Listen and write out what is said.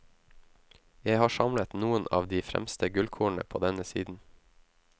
Jeg har samlet noen av de fremste gullkornene på denne siden.